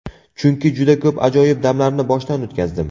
Chunki juda ko‘p ajoyib damlarni boshdan o‘tkazdim.